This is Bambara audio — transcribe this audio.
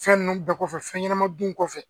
Fɛn ninnu bɛɛ kɔfɛ, fɛn ɲɛnama dun kɔfɛ